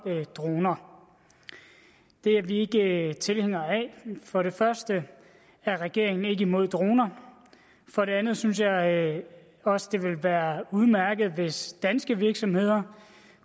droner det er vi ikke tilhængere af for det første er regeringen ikke imod droner for det andet synes jeg også det vil være udmærket hvis danske virksomheder